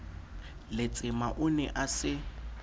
letsema o ne a se